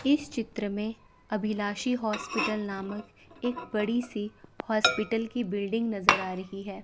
इस चित्र में अभिलाषी हॉस्पिटल नामक एक बड़ी सी हॉस्पिटल की बिल्डिंग नजर आ रही है।